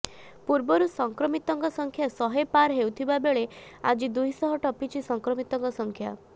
ପୂର୍ବରୁ ସଂକ୍ରମିତଙ୍କ ସଂଖ୍ୟା ଶହେ ପାର ହେଉଥିବା ବେଳେ ଆଜି ଦୁଇ ଶହ ଟପିଛି ସଂକ୍ରମିତଙ୍କ ସଂଖ୍ୟା